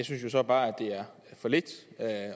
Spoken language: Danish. synes jo så bare at det er for lidt